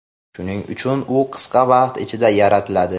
shuning uchun u qisqa vaqt ichida yaratiladi.